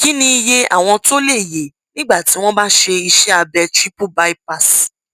kí ni iye àwọn tó lè yè nígbà tí wọn bá ṣe iṣẹ abẹ triple bypass